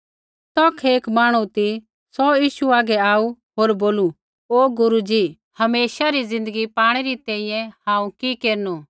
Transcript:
तौखै एक मांहणु ती सौ यीशु हागै आऊ होर बोलू ओ गुरू जी हमेशा री ज़िन्दगी पाणै री तैंईंयैं हांऊँ कि केरनु